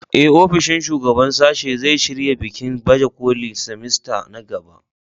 Ee, ofishin shugaban sashe zai shirya bikin baje kolin semester na gaba.